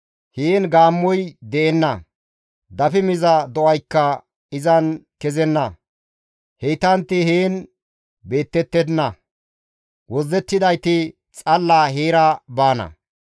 Heen gaammoy de7enna; dafi miza do7aykka izan kezenna; heytantti heen beettettenna; wozzettidayti xalla heera baana.